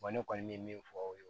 ne kɔni bɛ min fɔ o ye